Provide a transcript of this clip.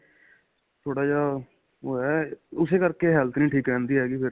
ਥੋੜਾ ਜਾ ਹੋਇਆ ਉਸੇ ਕਰਕੇ health ਨਹੀਂ ਠੀਕ ਰਹਿੰਦੀ ਹੈਗੀ ਫ਼ਿਰ